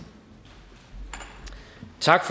tak